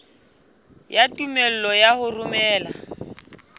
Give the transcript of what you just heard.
ya tumello ya ho romela